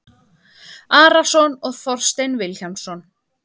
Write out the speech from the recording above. Arason og Þorstein Vilhjálmsson